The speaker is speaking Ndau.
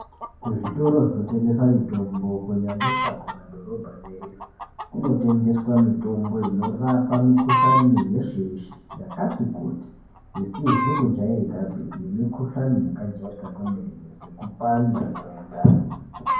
Kuzvitoro zvinotengesa mitombo kunyanyisa kumadhorobha yeyo kunotengeswa mitombo inorapa mikuhlani yeshe yeshe yakuti kuti isizi kujairikapi nemikuhlani yakajairika kwemene sekupanda kwemundani.